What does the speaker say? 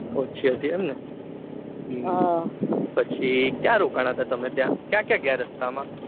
ઓછી હતી એમ ને એમ ને પછી ક્યા રોકના હતા ક્યાં ક્યા ગયા રસ્તા માં માં